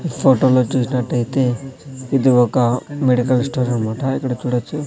ఈ ఫోటో లో చూసినట్టైతే ఇది ఒక మెడికల్ స్టోర్ అన్మాట ఇక్కడ చూడచ్చు.